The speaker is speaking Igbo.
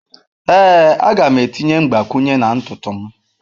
Ee, a ga m etinye mgbakwunye na ntutu m.